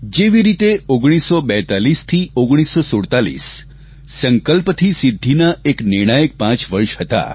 જેવી રીતે 1942 થી 1947 સંકલ્પથી સિદ્ધીના એક નિર્ણાયક પાંચ વર્ષ હતા